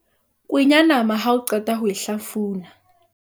kwenya nama ha o qeta ho e hlafuna